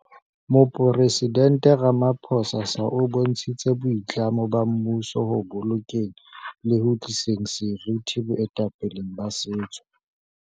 Moporesident Ramapho sa o bontshitse boitlamo ba mmuso ho bolokeng le ho tliseng seriti boetapeleng ba setso.